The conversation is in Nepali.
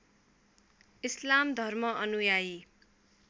इस्लाम धर्म अनुयायी